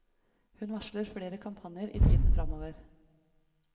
Hun varsler flere kampanjer i tiden fremover.